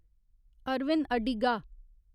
Arvind Adiga